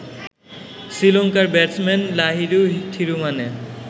শ্রীলংকার ব্যাটসম্যান লাহিরু থিরুমানে